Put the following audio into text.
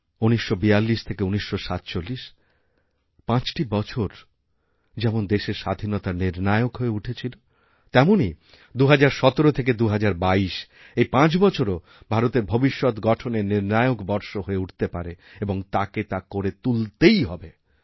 ১৯৪২ থেকে ১৯৪৭ পাঁচটি বছর যেমন দেশের স্বাধীনতার নির্ণায়ক হয়ে উঠেছিল তেমনই ২০১৭থেকে ২০২২ এই পাঁচ বছরও ভারতের ভবিষ্যৎ গঠনের নির্ণায়ক বর্ষ হয়ে উঠতে পারে এবংতাকে তা করে তুলতেই হবে